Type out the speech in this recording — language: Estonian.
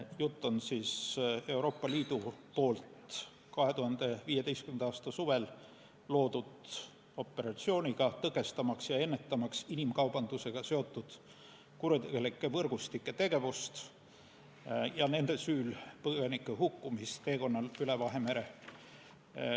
Jutt on 2015. aasta suvel Euroopa Liidu loodud operatsiooniga tõkestamaks ja ennetamaks inimkaubandusega seotud kuritegelike võrgustike tegevust ja nende süül põgenike hukkumist teekonnal üle Vahemere.